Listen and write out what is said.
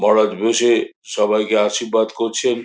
মহারাজ বসে সবাইকে আশীর্বাদ করছেন।